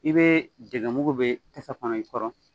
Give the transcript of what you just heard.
I bɛ dɛgɛ mugu bɛ tasa kɔnɔ i kɔrɔ